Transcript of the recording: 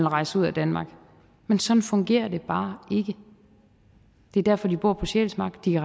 rejse ud af danmark men sådan fungerer det bare ikke det er derfor de bor på sjælsmark de